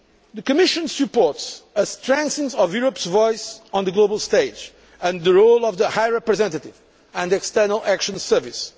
The Commission supports a strengthening of Europe's voice on the global stage and the role of the High Representative and the External Action Service.